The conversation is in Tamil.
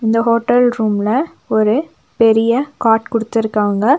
இந்த ஹோட்டல் ரூம்ல ஒரு பெரிய காட் குடுத்துருக்காங்க.